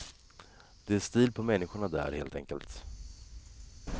Det är stil på människorna där, helt enkelt.